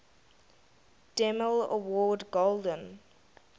demille award golden